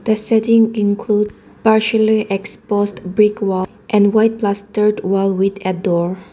The setting include partially exposed brick wall and white plus third wall with a door.